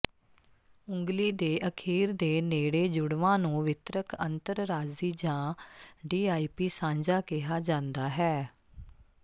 ਉਂਗਲੀ ਦੇ ਅਖੀਰ ਦੇ ਨੇੜੇ ਜੁੜਵਾਂ ਨੂੰ ਵਿਤਰਕ ਅੰਤਰਰਾਜੀ ਜਾਂ ਡੀਆਈਪੀ ਸਾਂਝਾ ਕਿਹਾ ਜਾਂਦਾ ਹੈ